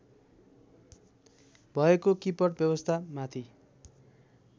भएको किपट व्यवस्थामाथि